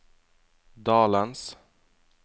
dalens